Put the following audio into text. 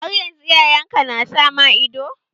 Har yanzu iyayen ka na sa ma ido?